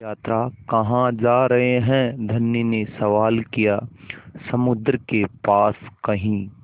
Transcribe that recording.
यात्रा कहाँ जा रहे हैं धनी ने सवाल किया समुद्र के पास कहीं